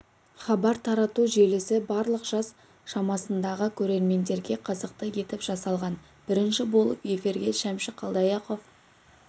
хабар тарату желісі барлық жас шамасындағы көрермендерге қызықты етіп жасалған бірінші болып эфирге шәмші қалдаяқов